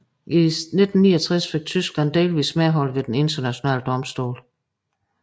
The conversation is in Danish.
I 1969 fik Tyskland delvis medhold ved Den internationale domstol